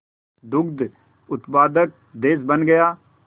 दुग्ध उत्पादक देश बन गया